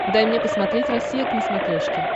дай мне посмотреть россия к на смотрешке